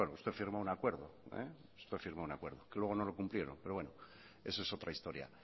usted firmó un acuerdo usted firmó un acuerdo que luego no lo cumplieron pero bueno eso es otra historia